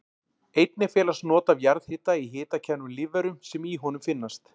Einnig felast not af jarðhita í hitakærum lífverum sem í honum finnast.